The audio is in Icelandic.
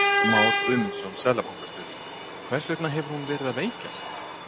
Már Guðmundsson, seðlabankastjóri: Hvers vegna hefur hún verið að veikjast?